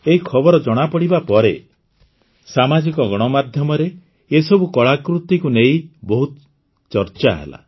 ଏହି ଖବର ଜଣାପଡ଼ିବା ପରେ ସାମାଜିକ ଗଣମାଧ୍ୟମରେ ଏସବୁ କଳାକୃତିକୁ ନେଇ ବହୁତ ଚର୍ଚ୍ଚା ହେଲା